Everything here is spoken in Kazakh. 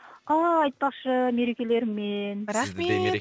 а айтпақшы мерекелеріңмен рахмет